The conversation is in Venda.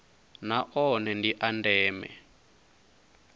na one ndi a ndeme